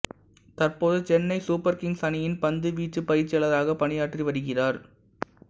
தற்போது Chennai super kings அணியின் பந்துவீச்சுப் பயிற்சியாளராக பணியாற்றி வருகிறார்